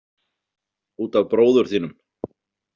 Út af bróður þínum.